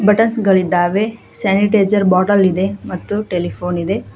Buttons ಗಳಿದ್ದಾವೆ sanitiser bottle ಇದೆ ಮತ್ತು ಟೆಲಿಫೋನ್ ಇದೆ.